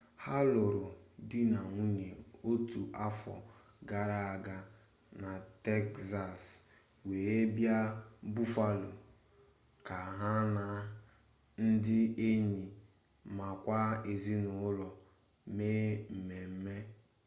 ha lụrụ di na nwunye otu afọ gara aga na tekzas were bịa buffalo ka ha na ndị enyi makwa ezinụlọ me mmemme